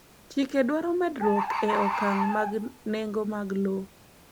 chike dwaro medruok e okang mag nego mag lowo